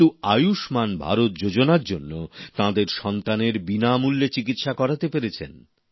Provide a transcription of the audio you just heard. কিন্তু আয়ুষ্মান ভারত যোজনার জন্য তাঁরা তাদের সন্তানের বিনামূল্যে চিকিৎসা করাতে পেরেছেন